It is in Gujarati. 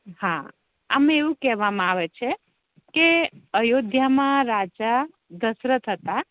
હા આમા એવુ કેવા મા આવે છે કે અયોધ્યા મા રાજા દશરથ હતા